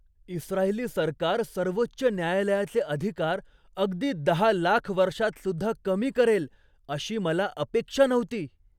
इस्त्रायली सरकार सर्वोच्च न्यायालयाचे अधिकार अगदी दहा लाख वर्षांतसुद्धा कमी करेल अशी मला अपेक्षा नव्हती.